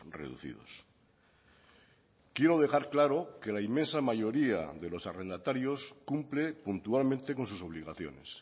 reducidos quiero dejar claro que la inmensa mayoría de los arrendatarios cumple puntualmente con sus obligaciones